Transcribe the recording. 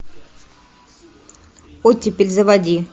оттепель заводи